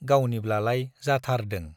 गावनिब्लालाय जाथारदों।